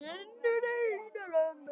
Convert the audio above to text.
En nóg með það.